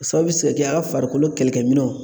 O sababu bɛ se ka kɛ ,a farikolo kɛlɛkɛminɛnw